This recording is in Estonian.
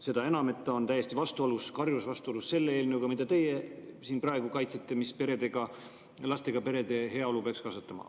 Seda enam, et ta on täiesti karjuvas vastuolus selle eelnõuga, mida teie siin praegu kaitsete, mis peaks lastega perede heaolu kasvatama.